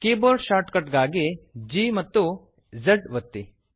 keyboard shortcut ಗಾಗಿ ಗ್ಯಾಂಪ್ಜ್ ಒತ್ತಿ